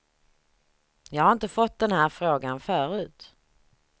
Jag har inte fått den här frågan förut.